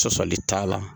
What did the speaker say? Sɔsɔli t'a la